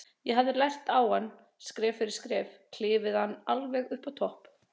Ég hefði lært á hann, skref fyrir skref, klifið hann alveg upp á topp.